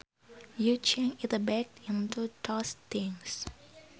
You change it back into those things